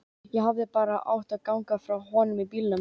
Ég hefði bara átt að ganga frá honum í bílnum.